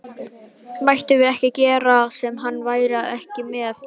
Mættum við ekkert gera sem hann væri ekki með í?